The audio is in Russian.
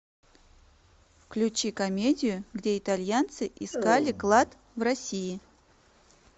включи комедию где итальянцы искали клад в россии